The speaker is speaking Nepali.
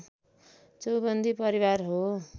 चौबन्दी परिवार हो